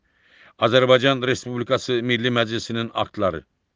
Azərbaycan Respublikası Milli Məclisinin aktları.